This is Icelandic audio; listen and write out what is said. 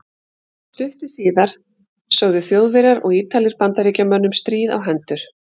Stuttu síðar sögðu Þjóðverjar og Ítalir Bandaríkjamönnum stríð á hendur.